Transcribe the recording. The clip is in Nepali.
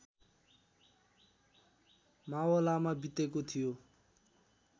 मावलामा बितेको थियो